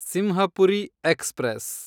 Simhapuri express